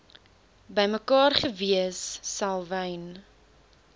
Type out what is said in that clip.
bymekaar gewees selwyn